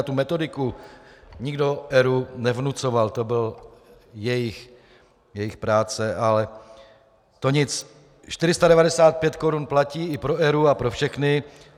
A tu metodiku nikdo ERÚ nevnucoval, to byla jejich práce, ale to nic. 495 korun platí i pro ERÚ a pro všechny.